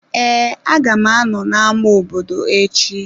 Ee, a ga m anọ n'ama obodo echi.